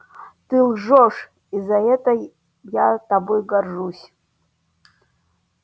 ты лжёшь и за это я тобой горжусь